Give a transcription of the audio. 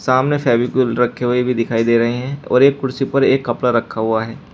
सामने फेविकोल रखे हुए भी दिखाई दे रहे हैं और एक कुर्सी पर एक कपड़ा रखा हुआ है।